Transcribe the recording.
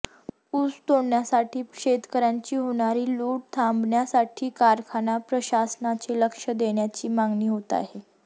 ऊस तोडणीसाठी शेतकर्यांची होणारी लूट थांबण्यासाठी कारखाना प्रशासनाने लक्ष देण्याची मागणी होत आहे